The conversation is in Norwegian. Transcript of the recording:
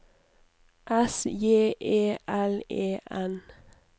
S J E L E N